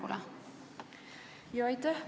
Aitäh!